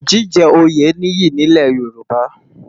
Jijè óyé ni iyi ni Ilè Yoruba